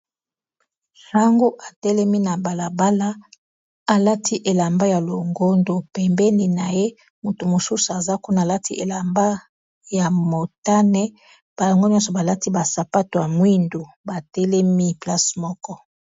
Sango atelemi na balabala alati elamba ya longondo pembeni na ye moto mosusu aza kuna alati elamba ya motane bango nyonso balati ba sapato ya mwindu batelemi place moko.